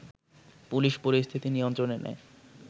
police পরিস্থিতি নিয়ন্ত্রণে নেয়